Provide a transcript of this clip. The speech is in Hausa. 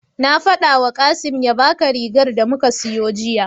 Na faɗawa Kasim ya baka rigar da muka siyo jiya.